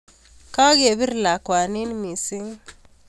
Kokebir lakwani mising